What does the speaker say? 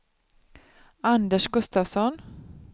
Anders Gustafsson